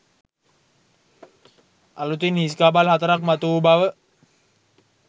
අලුතින් හිස් කබල් හතරක් මතු වූ බව